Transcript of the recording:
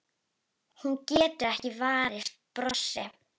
Hún getur ekki varist brosi.